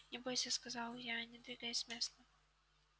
не бойся сказал я не двигаясь с места